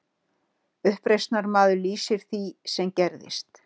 Uppreisnarmaður lýsir því sem gerðist